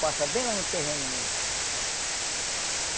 Passa bem lá no terreno mesmo.